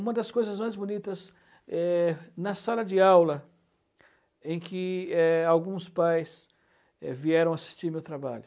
Uma das coisas mais bonitas é na sala de aula em que é alguns pais vieram assistir meu trabalho.